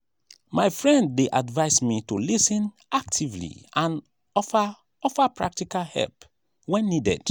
my friend dey advise me to lis ten actively and offer offer practical help when needed.